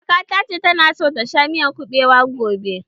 Kaka ta ce ta na so ta ci miyar kuɓewa gobe.